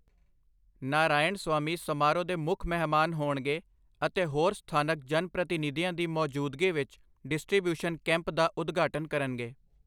ਨਾਰਾਇਣਸਵਾਮੀ ਸਮਾਰੋਹ ਦੇ ਮੁੱਖ ਮਹਿਮਾਨ ਹੋਣਗੇ ਅਤੇ ਹੋਰ ਸਥਾਨਕ ਜਨਪ੍ਰਤੀਨਿਧੀਆਂ ਦੀ ਮੌਜੂਦਗੀ ਵਿੱਚ ਡਿਸਟ੍ਰੀਬਿਊਸ਼ਨ ਕੈਂਪ ਦਾ ਉਦਘਾਟਨ ਕਰਨਗੇ।